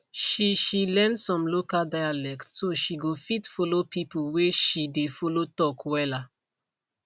she she learn some local dialect so she go fit follow people whey she dey follow talk wella